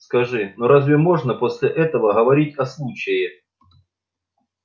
скажи ну разве можно после этого говорить о случае